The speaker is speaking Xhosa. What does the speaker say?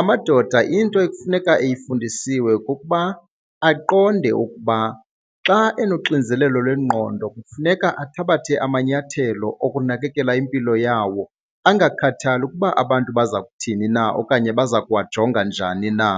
Amadoda into ekufuneka eyifundisiwe kukuba aqonde ukuba xa enoxinzelelo lwengqondo kufuneka athabathe amanyathelo okunakekela impilo yawo angakhathali ukuba abantu baza kuthini na okanye baza kuwajonga njani na.